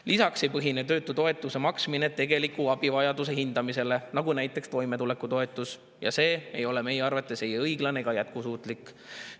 Lisaks ei põhine töötutoetuse maksmine tegeliku abivajaduse hindamisel, nagu toimetulekutoetus, ja see ei ole meie arvates ei õiglane ega jätkusuutlik.